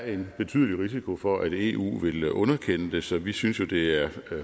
en betydelig risiko for at eu vil underkende så vi synes jo det er